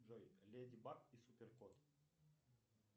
джой леди баг и супер кот